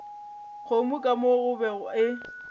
kgomo ka mo gobe e